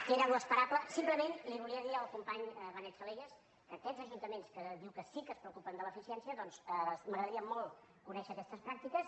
que era l’esperable simplement li volia dir al company benet salellas que aquests ajuntaments que diu que sí que es preocupen de l’eficiència doncs m’agradaria molt conèixer aquestes pràctiques